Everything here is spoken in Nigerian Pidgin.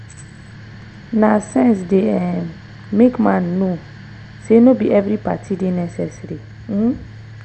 na sense dey um make man know say no bi evri party dey necessary um